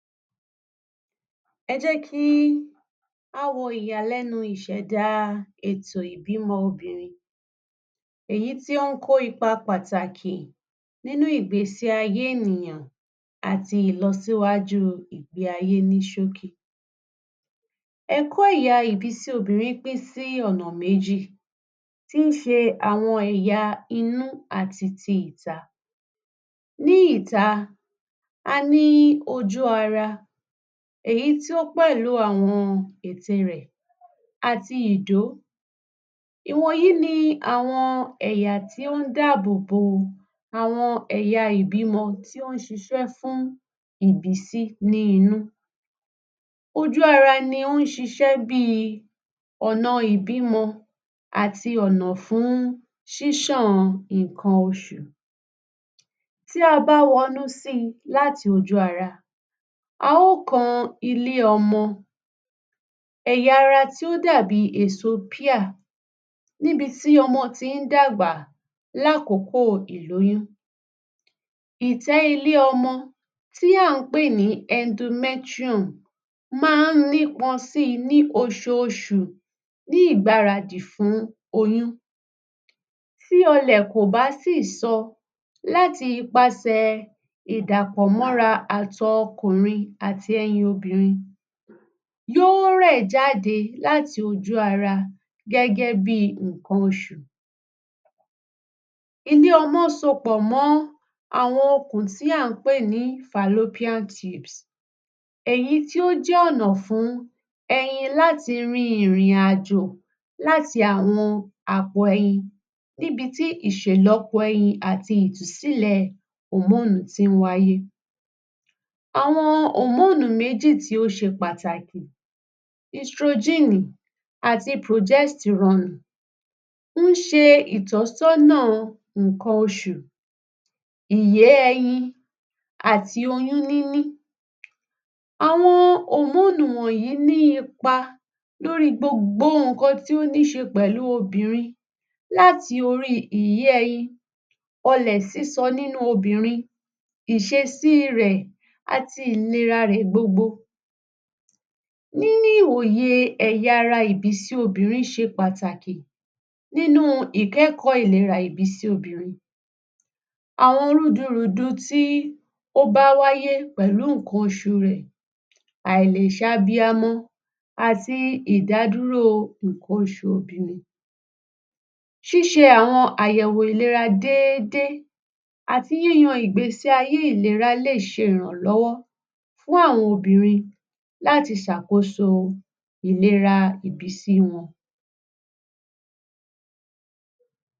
Ẹjẹ́ kí á wo ìyàlẹ́nu ìbímọ obìnrin èyí tí ó kó ipa pàtàkì nínú ìgbésí ayé ènìyàn àti ìlọ síwájú ìgbé ayé ní sókí ẹkọ́ ìyà ìbísí obìrin pín sí ọ̀nà méjì tí ṣe àwọn èyà inú àti ti ìta, ní ìta a ní ojú ara, èyí tó pẹ̀lu àwọn ìte rẹ̀ àti ìdó, ìwọ̀nyí ni àwọn ẹ̀yà tí ó dábòbò àwọn èyà ìbímọ tí ó ṣiṣẹ́ fún ìbísí ní inú, ojù ara ni ó ṣiṣẹ́ bí ọ̀nà ìbímọ àti ọ̀nà fún ṣíṣàn ìkan osùn tí a bá wọnú si láti ojú ara a ó kan ilẹ́ ọmọ, ẹ̀yà ara tí ó dàbi èso pear níbití ọmọ tí dàgbà láàkókò ìlóyún, ìtẹ́ ilé ọmọ tí a pè ní endometrum má ní pọn si ní ososùn ní ìgbára dì fún oyún, tí ọlẹ̀ kò bá tì sọ láti ipaṣẹ̀ ìdàpọ̀ mọ́ ra àtọ̀ okùnrin àti ẹyin obìnrin yó rẹ̀ jáde láti ojú ara gẹ́gẹ́bí ìkan osùn, ilé ọmọ so pọ̀ mọ́ àwọn okùn tí à ń pè ní falopean tubes, èyín tí ó jẹ́ ọ̀nà fún ẹyin láti rin ìrìnàjò láti àwọn àpò ẹyin níbití ìṣèlọ́po ẹyin àti ìtúsílẹ̀ hormonu tí wáyé. Àwọn hormonu méjì tó ṣe pàtàkì, istrogíìnì àti progesterone, ún ṣe ìtósọ́nà ìkan osùn, ìyé ẹyin àti oyún níní, àwọn hormonu wọ̀nyí ní ipa lórí gbogbo ìkan tí óṣe pẹ̀lú obìnrin láti orí ìyé ẹyin, ọlẹ̀ sísọ nínú obìnrin, ìsesí rẹ̀ àti ìlera rẹ̀ gbogbo, níní òye ẹ̀yà ara ìbísí obìnrin ṣe pàtàkì nínú ìkẹ́ẹ̀kọ́ ìlera ìbísí obìnrin, àwọn rúdurùdu tí ó bá wáyé pẹ̀lú ìkan osùn rẹ̀, aláìsabiamọ àti ìdádúró ìkan osùn obìnrin, ṣíṣe àwọn àyẹ̀wò ìlera déédé àti yíyan ìgbé ayé ìlera lè ṣe ìrànlọ́wọ́ fún àwọn obìnrin láti sàkóso ìlera ìbísí wọn.